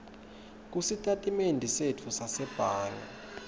kusitatimende setfu sasebhange